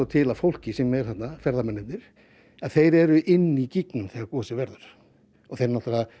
til að fólkið sem er þarna ferðamennirnir þau eru inni í þegar gosið verður þau